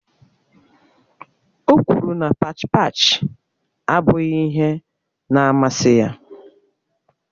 O kwuru na pach pach abụghị ihe na amasị ya